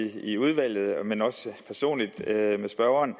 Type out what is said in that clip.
i udvalget men også personligt med spørgeren